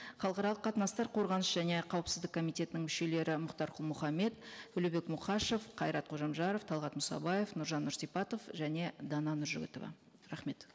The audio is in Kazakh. халықаралық қатынастар қорғаныс және қауіпсіздік комитетінің мүшелері мұхтар құл мұхаммед төлебек мұқашев қайрат қожамжаров талғат мұсабаев нұржан нұрсипатов және дана нұржігітова рахмет